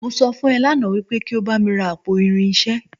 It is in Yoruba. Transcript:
Mo sọ fún ọ lánàá wípé kí o bá mi ra àpò irinṣẹ́